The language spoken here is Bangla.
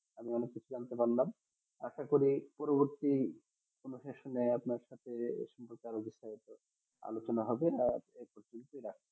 আমরা একটা করে পরবতী আপনার সাথে এই সম্পর্কে আলোচনা হবে আর